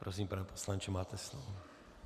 Prosím, pane poslanče, máte slovo.